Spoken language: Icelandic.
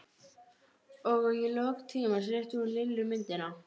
Og í lok tímans rétti hún Lillu myndina.